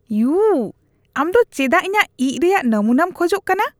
U. ᱟᱢ ᱫᱚ ᱪᱮᱫᱟᱜ ᱤᱧᱟᱜ ᱤᱡᱽ ᱨᱮᱭᱟᱜ ᱱᱟᱹᱢᱩᱱᱟᱢ ᱠᱷᱚᱡ ᱠᱟᱱᱟ ?